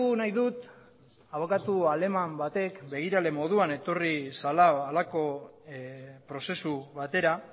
nahi dut abokatu aleman batek begirale moduan etorri zela halako prozesu batera